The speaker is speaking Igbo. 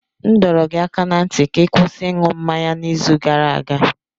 M dọrọ gị aka ná ntị ka ị kwụsị ịṅụ mmanya n'izu gara aga!